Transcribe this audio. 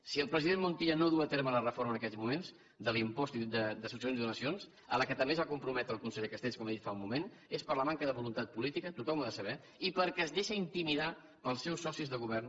si el president montilla no duu a terme la reforma en aquests moments de l’impost de succions i donacions a la qual també es va comprometre el conseller castells com he dit fa un moment és per la manca de voluntat política tothom ho ha de saber i perquè es deixa intimidar pels seus socis de govern